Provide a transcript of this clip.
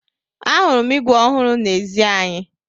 Ahụrụ m ígwè ọhụrụ n'ezi anyị.